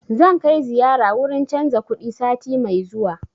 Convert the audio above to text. Zan kai ziyara wurin canza kuɗi sati mai zuwa